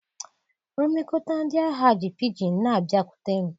Nlekọta ndị ahịa ji pidgin na-abịakwute m.